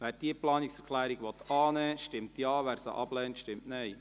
Wer diese Planungserklärung annehmen will, stimmt Ja, wer sie ablehnt, stimmt Nein.